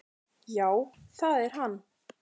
"""Já, það er hann."""